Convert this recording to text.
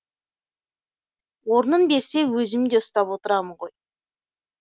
орнын берсе өзімде ұстап отырамын ғой